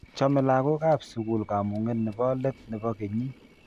Chomei lakok ab sikul kamung'e ne bo let ne bo kenyii.